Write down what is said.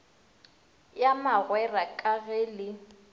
ya magwera ka ge le